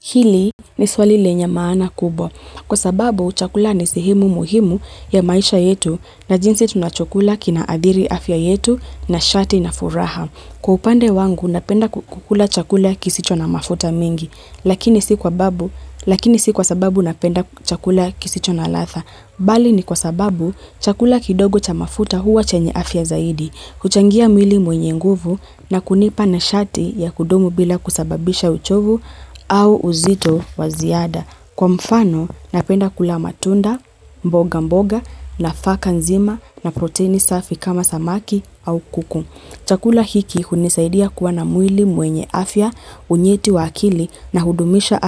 Hili ni swali lenye maana kubwa. Kwa sababu, chakula ni sehimu muhimu ya maisha yetu na jinsi tunachokula kinaadhiri afya yetu nishati na furaha. Kwa upande wangu, napenda kukula chakula kisicho na mafuta mingi, lakini si kwa sababu napenda chakula kisicho na ladha. Bali ni kwa sababu, chakula kidogo cha mafuta huwa chenye afya zaidi, kuchangia mwili wenye nguvu na kunipa nishati ya kudumu bila kusababisha uchovu au uzito wa ziada. Kwa mfano, napenda kula matunda, mboga mboga nafaka nzima na proteini safi kama samaki au kuku. Chakula hiki hunisaidia kuwa na mwili mwenye afya, unyeti wa akili na hudumisha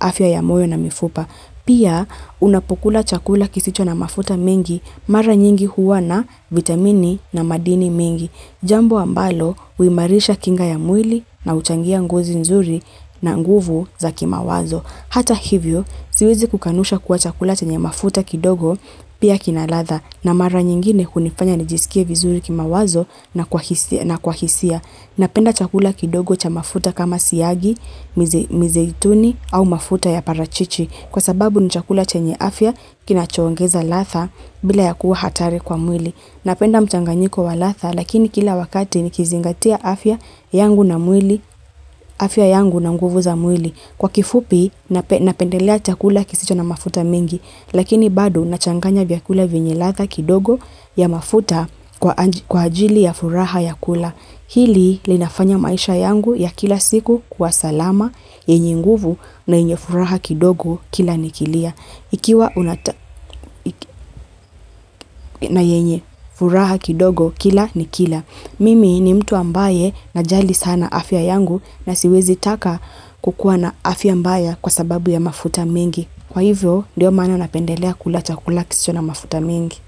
afya ya moyo na mifupa. Pia, unapo kula chakula kisicho na mafuta mengi mara nyingi huwa na vitamini na madini mengi. Jambo ambalo, uimarisha kinga ya mwili na uchangia ngozi nzuri na nguvu za kimawazo. Hata hivyo, siwezi kukanusha kuwa chakula chenye mafuta kidogo pia kinaladha na mara nyingine hunifanya nijisikie vizuri kima wazo na kwa hisia. Napenda chakula kidogo cha mafuta kama siagi, mizeituni au mafuta ya parachichi kwa sababu ni chakula chenye afya kinacho ongeza ladha bila ya kuwa hatari kwa mwili. Napenda mchanganyiko wa latha lakini kila wakati ni kizingatia afya yangu na mwili, afya yangu na nguvu za mwili. Kwa kifupi napendelea chakula kisicho na mafuta mingi lakini bado nachanganya vyakula vyenye latha kidogo ya mafuta kwa ajili ya furaha ya kula. Hili linafanya maisha yangu ya kila siku kuwa salama, yenye nguvu na yenye furaha kidogo kila nikilia. Ikiwa na yenye furaha kidogo kila nikila. Mimi ni mtu ambaye najali sana afya yangu na siwezi taka kukuwa na afya mbaya kwa sababu ya mafuta mingi. Kwa hivyo, ndiyo mana napendelea kula chakula kisicho na mafuta mingi.